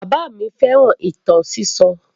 Bàbá àgbà mi fẹ́ràn ìtàn sísọ.